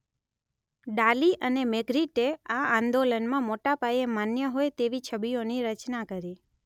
ડાલી અને મેગ્રીટે આ આંદોલનમાં મોટા પાયે માન્ય હોય તેવી છબીઓની રચના કરી.